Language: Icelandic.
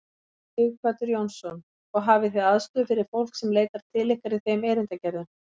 Sighvatur Jónsson: Og hafið þið aðstöðu fyrir fólk sem leitar til ykkar í þeim erindagerðum?